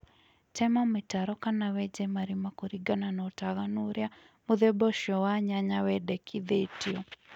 tema mĩtaro kana wenje marĩma kũrĩngana na ũtaganũ ũrĩa mũthemba ũcĩo wa nyanya wendekĩthĩtĩo